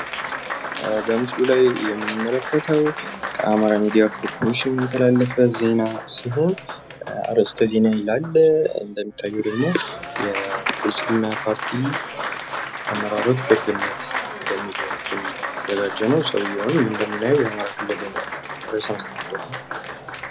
በምስሉ ላይ የምንመለከተው ከአማራ ሚዲያ ኮርፖሬሽን የተላለፈ ዜና ሲሆን አርእስተ ዜና ይላል እንደሚታየው ደግሞ የብልፅግና ፓርቲ አመራሮች ጉብኝት በሚል የተዘጋጀ ነው። ሰውየውን እንደምናየው የአማራ ክልል ርዕሰ መስተዳድር ነው።